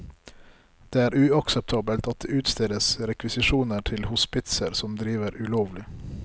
Det er uakseptabelt at det utstedes rekvisisjoner til hospitser som driver ulovlig.